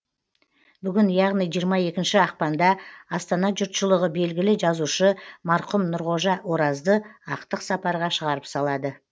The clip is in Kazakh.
бүгін яғни жиырма екінші ақпанда астана жұртшылығы белгілі жазушы марқұм нұрғожа оразды ақтық сапарға шығарып салады